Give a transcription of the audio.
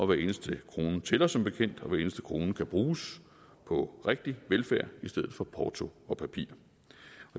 hver eneste krone tæller som bekendt og hver eneste krone kan bruges på rigtig velfærd i stedet for på porto og papir